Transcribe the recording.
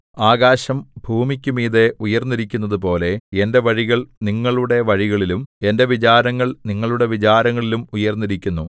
ആകാശം ഭൂമിക്കുമീതെ ഉയർന്നിരിക്കുന്നതുപോലെ എന്റെ വഴികൾ നിങ്ങളുടെ വഴികളിലും എന്റെ വിചാരങ്ങൾ നിങ്ങളുടെ വിചാരങ്ങളിലും ഉയർന്നിരിക്കുന്നു